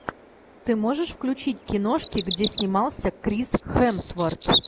ты можешь включить киношки где снимался крис хемсворт